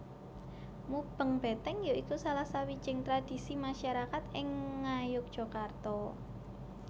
Mubeng Beteng ya iku salah sawijing tradisi masarakat ing Ngayogyakarta